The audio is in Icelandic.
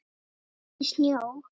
Éttu snjó.